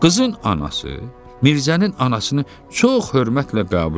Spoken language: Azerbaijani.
Qızın anası Mirzənin anasını çox hörmətlə qəbul elədi.